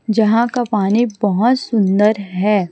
जहां का पानी बहोत सुंदर है।